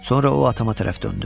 Sonra o atama tərəf döndü.